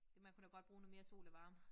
Det man kunne da godt bruge noget mere sol og varme